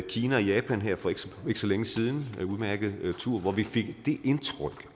kina og japan her for ikke så længe siden på en udmærket tur hvor vi fik det indtryk